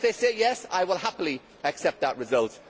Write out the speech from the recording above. If they say yes, I will happily accept that result.